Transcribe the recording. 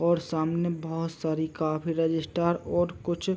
--और सामने बहुत सारी काफी रजिस्टार और कुछ--